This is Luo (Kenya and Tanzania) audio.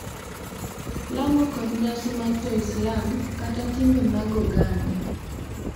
Lamo kod nyasi mag Jo-Islam, kata timbe mag oganda,